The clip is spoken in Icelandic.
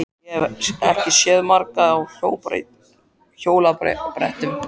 Ég hef ekki séð margar á hjólabrettum.